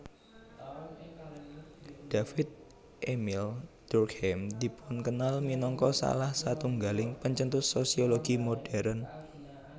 David Émile Durkheim dipunkenal minangka salah satunggaling pencetus sosiologi modèrn